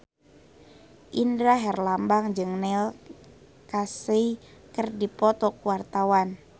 Indra Herlambang jeung Neil Casey keur dipoto ku wartawan